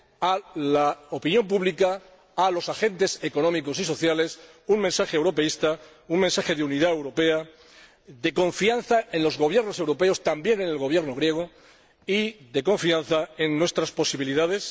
a la opinión pública, a los agentes económicos y sociales, un mensaje europeísta, un mensaje de unidad europea, de confianza en los gobiernos europeos, también en el Gobierno griego, y de confianza en nuestras posibilidades.